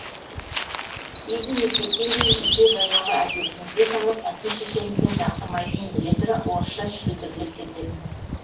кейде мектептен кейін үйде баяғы әдетімізге салып әке шешеміздің жақтырмайтынын біле тұра орысша шүлдірлеп кетеміз